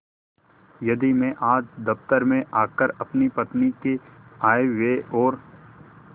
यदि मैं आज दफ्तर में आकर अपनी पत्नी के आयव्यय और